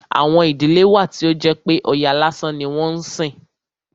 Àwọn ìdílé wà tí ó jẹ́ pé Ọya lásán ni wọ́n ń sìn.